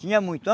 Tinha muito.